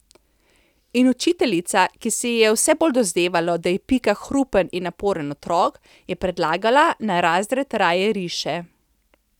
In učiteljica, ki se ji je vse bolj dozdevalo, da je Pika hrupen in naporen otrok, je predlagala, naj razred raje riše.